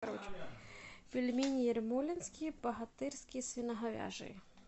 пельмени ермолинские богатырские свиноговяжие